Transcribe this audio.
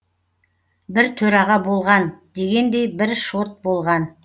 бір төраға болған дегендей бір шот болған